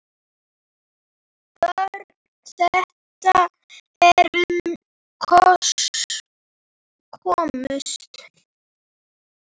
Börn þeirra, sem upp komust